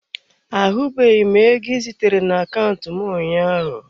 Ahụbeghị m ego ị zitara na akaụntụ m ụnyaahụ.